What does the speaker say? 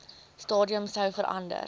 stadium sou verander